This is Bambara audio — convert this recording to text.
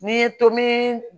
N'i ye tomi